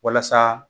Walasa